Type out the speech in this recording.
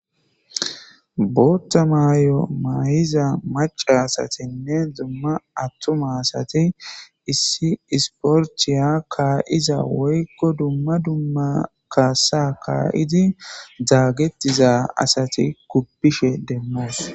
bootta maayy7o may7iza maca asatinne dumma attuma asati issi isporchiya kaayiza woykko dumma dumma kaasa kaayidi daagetiza asati kuppishe demmoos